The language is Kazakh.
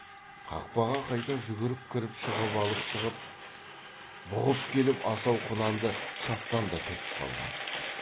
қақпаға қайта жүгіріп кіріп шыбық алып шығып бұғып келіп асау құнанды шаптан да түртіп қалған